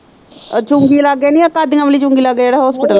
ਉਹ ਚੁੰਗੀ ਲਾਗੇ ਨੀ, ਉਹ ਕਾਡੀਆ ਵਾਲੀ ਚੁੰਗੀ ਲਾਗੇ ਜਿਹੜਾ ਹੋਸਪੀਟਲ।